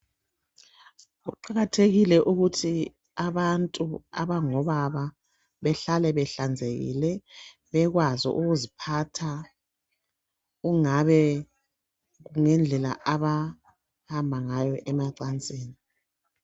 Kuqakathekile ukuthi abantu abangobaba behlale behlanzekile, bekwazi ukuziphatha, kungabe kuyindlela abahamba ngayo emacansini.